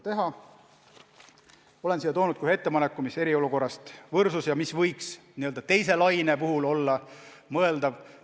Olen siia toonud ka ühe ettepaneku, mis eriolukorrast võrsus ja mis võiks teise laine puhul olla mõeldav ära teha.